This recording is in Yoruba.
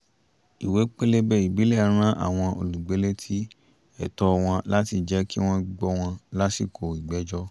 ìwé pélébé ìbílẹ̀ rán àwọn olùgbé létí ẹ̀tọ́ wọn láti jẹ̀ kí wọ́n gbọ́ wọn lásìkò ìgbẹ́jọ́